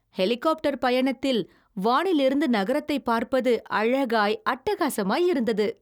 ஹெலிகாப்டரில் பயணத்தில், வானில் இருந்து நகரத்தை பார்ப்பது அழகாய் அட்டகாசமாய் இருந்தது.